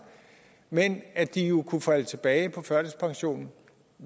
men at de kunne falde tilbage på førtidspensionen